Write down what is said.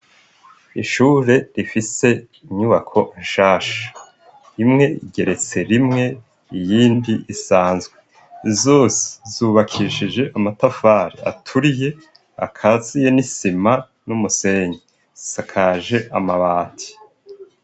Ishure rifise inyubako nshasha. Imwe igeretse rimwe iyindi isanzwe. Zose z'ubakishije amatafari aturiye akaziye n'isima numusenyi. Zisakaje amabati.